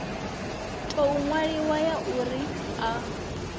tou ṅwaliwaho ya uri a